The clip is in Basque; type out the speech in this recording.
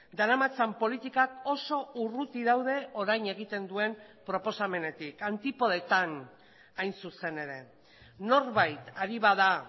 daramatzan politikak oso urruti daude orain egiten duen proposamenetik antipodetan hain zuzen ere norbait ari bada